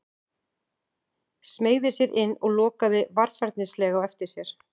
Smeygði sér inn og lokaði varfærnislega á eftir sér.